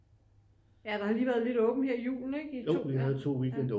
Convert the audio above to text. Ja der har lige været lidt åbent her i julen ikke i to ja